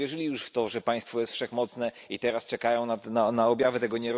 Ludzie uwierzyli już w to, że państwo jest wszechmocne, i teraz czekają na objawy tego.